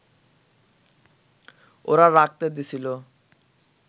ওরা রাখতে দিছিল